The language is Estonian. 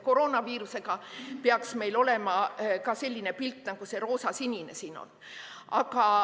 Koroonaviirusega peaks meil olema selline pilt, nagu see roosa-sinine siin on.